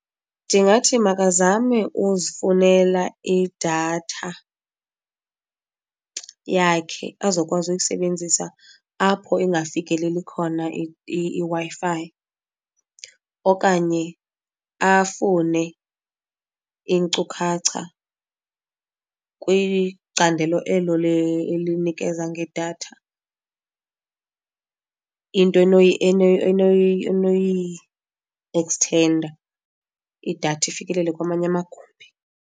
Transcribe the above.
Ndingathi makazame uzifunele idatha yakhe azokwazi uyisebenzisa apho ingafikeleli khona iWi-Fi, okanye afune iinkcukacha kwicandelo elo le elinikeza ngedatha into enoyieksthenda idatha ifikelele kwamanye amagumbi.